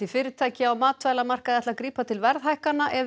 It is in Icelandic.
fyrirtæki á matvælamarkaði ætla að grípa til verðhækkana ef